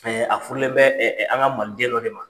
Fɛɛ a furulen bɛ an ka maliden dɔ de ma.